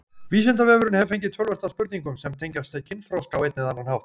Vísindavefurinn hefur fengið töluvert af spurningum sem tengjast kynþroska á einn eða annan hátt.